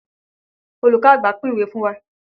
Olùkọ́ àgbà pín ìwé fún wa.